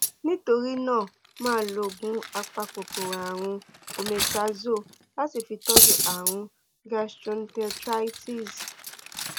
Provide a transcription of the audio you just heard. nítorí náà máa lo oògùn apakòkòrò ààrùn àti omeprazole láti fi tọ́jú ààrùn gastroenteritis